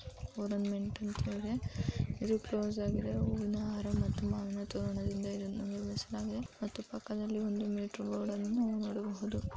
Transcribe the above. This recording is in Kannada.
ಓರಂಮ್ನೆಟ್ ಅಂತ ಇದೆ ಇದು ಕ್ಲೋಸ್ ಆಗಿದೆ ಹೂವಿನ ಹಾರ ಮತ್ತು ಮಾವಿನ ತೋರಣದಿಂದ ಇದನ್ನು ನಿರ್ಮಿಸಲಾಗಿದೆ ಮತ್ತು ಪಕ್ಕದಲ್ಲಿ ಒಂದು ಮೀಟರ್ ಬೋರ್ಡನ್ನು ನೋಡಬಹುದು.